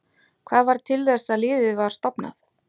Hvað varð til þess að liðið var stofnað?